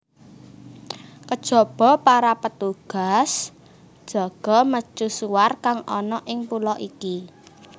Kejaba para petugas jaga mercusuar kang ana ing pulo iki